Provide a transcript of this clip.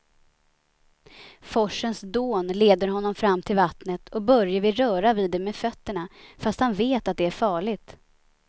Forsens dån leder honom fram till vattnet och Börje vill röra vid det med fötterna, fast han vet att det är farligt.